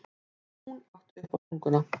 Hún átti uppástunguna.